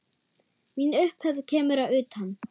Mín upphefð kemur að utan.